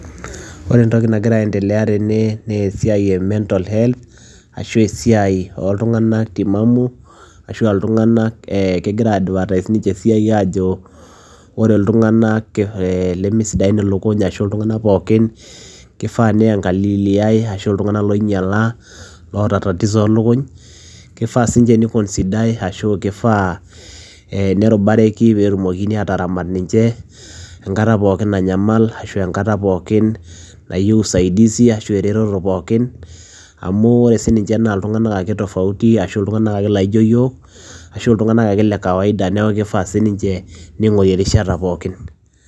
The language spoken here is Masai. Ore entoki nagira aendelea tene nee esiai e mental health ashu esiai ooltung'anak timamu ashu aa iltung'anak ee kegira aidvertise ninche esiai aajo ore iltung'anak ke lemesidain ilikuny ashu iltung'anak pookin kifaa niang'aliliai ashu iltung'anak loinyala ashu loota tatizo oo lukuny, kifaa siinche niconsidai ashu kifaa ee nerubareki peetumokini aataramat ninche enkata pookin nanyamal ashu enkata pookin nayeu usaidizi ashu eretoto pookin amu ore sininche naa iltung'anak ake tofauti ashu iltung'anak ake laijo iyiok ashu iltung'anak ake le kawaida. Neeku kifaa sininche ning'ori erishata pookin.